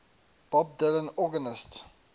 bob dylan organist